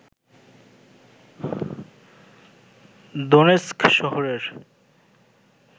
Donetsk শহরের